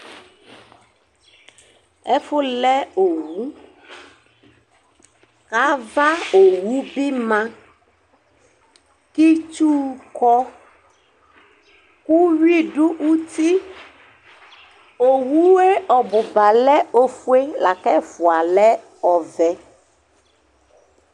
ɛfʋ lɛ owu, kʋ avaowu bɩ ma, kʋ itsu kɔ Uyʋi dʋ uti Owu ɔbʋba lɛ ofue, lakʋ ɛfʋa lɛ ɔvɛ